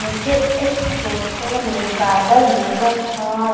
मुझे इस फोटो में बदल नजर आ--